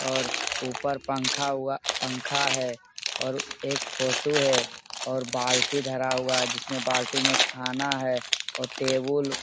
और ऊपर पंखा हुआ पंखा है और एक फोटो है और बाल्टी धरा हुआ है जिसमें बाल्टी में खाना है और टेबल --